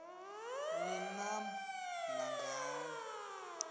ni nam nangani